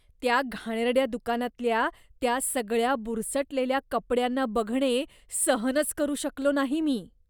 त्या घाणेरड्या दुकानातल्या त्या सगळ्या बुरसटलेल्या कपड्यांना बघणे सहनच करू शकलो नाही मी.